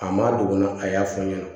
A ma dogo a y'a fɔ n ɲɛna